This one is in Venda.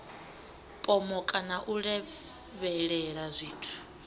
pomoka na u lavhelela zwithu